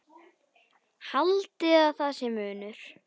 Haldið að sé munur!